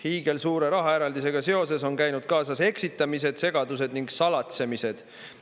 Hiigelsuure rahaeraldisega seoses on käinud kaasas eksitamised, segadused ning salatsemised.